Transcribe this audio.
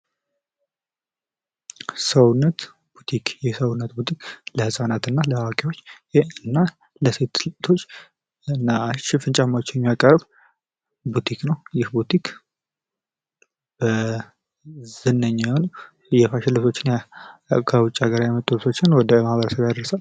ሰውነት ቡቲክ የሰውነት ቡቲክ ለህፃናት እና ለአዋቂዎች ለሴት እህቶች አሪፍ ሽፍን ጫማዎችን የሚያቀርብ ቡቲክ ነው። ይህ ቡቲክ ዝነኛ የሆኑ የፋሽን ልብሶችን ከውጭ ሀገር የመጡ ልብሶችን ወደ ማህበረሰብ ያደርሳል።